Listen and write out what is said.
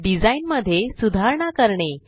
design मध्ये सुधारणा करणे